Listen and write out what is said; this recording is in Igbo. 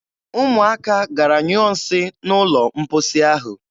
Ụmụaka gara nyụọ nsị n'ụlọ mposi ahụ.